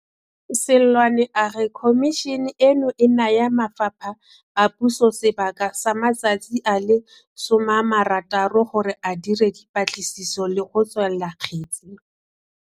Seloane a re Khomišene eno e naya mafapha a puso sebaka sa matsatsi a le 60 gore a dire dipatliso le go tswala kgetse.